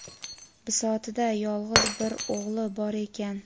bisotida yolg‘iz bir o‘g‘li bor ekan.